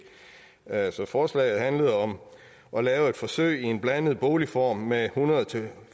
altså forslaget handlede om at lave et forsøg i en blandet boligform med hundrede til